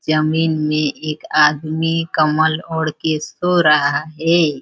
जमीन में एक आदमी कम्बल ओढ़ के सो रहा हैं।